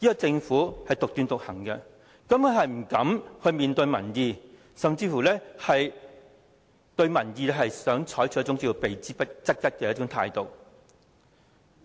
政府獨斷獨行，不敢面對民意，對民意採取避之則吉的態度。